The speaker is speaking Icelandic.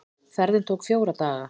Ferðin tók fjóra daga.